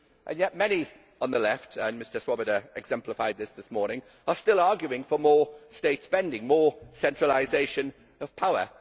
Yet many on the left as MrSwoboda exemplified this morning are still arguing for more state spending and more centralisation of power.